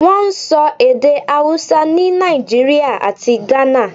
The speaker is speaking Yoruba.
Wọ́n ń sọ èdè Hausa ni Nàìjíríà àti Ghana.